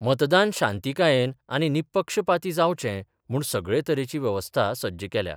मतदान शांतीकायेन आनी निपक्षपाती जावचें म्हुण सगळे तरेची व्यवस्था सज्ज केल्या.